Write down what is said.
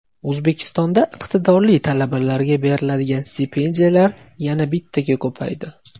O‘zbekistonda iqtidorli talabalarga beriladigan stipendiyalar yana bittaga ko‘paydi.